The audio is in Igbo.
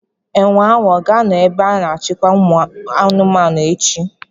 Enwe ahụ ọ ga-anọ n'ebe a na-achịkwa ụmụ anụmanụ echi?